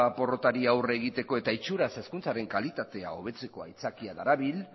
porrotari aurre egiteko eta itxuraz hezkuntzaren kalitatea hobetzeko aitzakia darabil